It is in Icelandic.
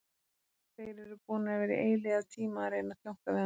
Þeir eru búnir að vera í eilífðartíma að reyna að tjónka við hann.